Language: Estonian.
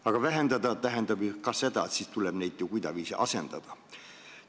Aga vähendamine tähendab ju ka seda, et neid tuleb kuidagiviisi asendada.